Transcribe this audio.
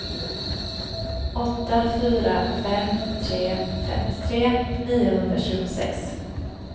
åtta fyra fem tre femtiotre niohundratjugosex